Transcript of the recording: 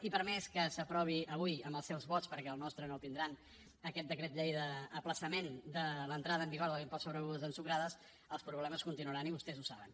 i per més que s’aprovi avui amb els seus vots perquè el nostre no el tindran aquest decret llei d’ajornament de l’entrada en vigor de l’impost sobre begudes ensucrades els problemes continuaran i vostès ho saben